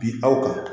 Bi aw kan